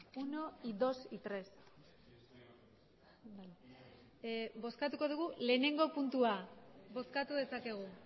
uno y dos y tres bozkatuko dugu lehenengo puntua bozkatu dezakegu